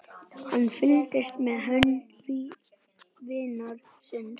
Hann fylgdist með hönd vinar síns.